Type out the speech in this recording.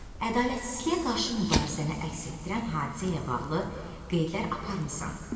Ədalətsizliyə qarşı mübarizəni əks etdirən hadisə ilə bağlı qeydlər aparmısan?